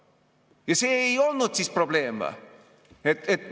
Ja see ei olnud siis probleem või?